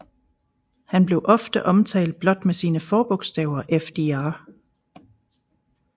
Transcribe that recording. Han blev ofte omtalt blot med sine forbogstaver FDR